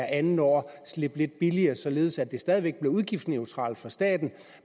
andet år slippe lidt billigere således at det stadig væk bliver udgiftsneutralt for staten